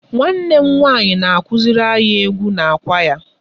Nwanne m nwanyị na-akụziri anyị egwu na kwaya.